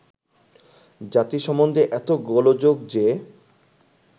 জাতি সম্বন্ধে এত গোলযোগ যে